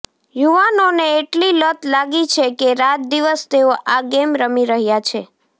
યુવાનોને એટલી લત લાગી છે કે રાત દિવસ તેઓ આ ગેમ રમી રહ્યા છે